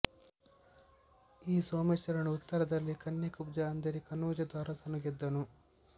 ಈ ಸೋಮೇಶ್ವರನು ಉತ್ತರದಲ್ಲಿ ಕನ್ಯಾಕುಬ್ಜ ಅಂದರೆ ಕನೋಜದ ಅರಸನನ್ನು ಗೆದ್ದನು